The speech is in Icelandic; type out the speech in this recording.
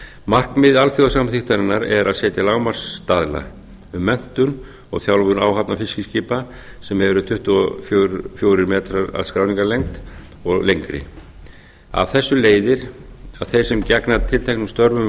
markmið alþjóðasamþykktarinnar er að setja lágmarksstaðla um menntun og þjálfun áhafna fiskiskipa sem eru tuttugu og fjórir metrar að skráningarlengd og lengri af þessu leiðir að þeir sem gegna tilteknum störfum um